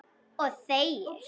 Og þegir.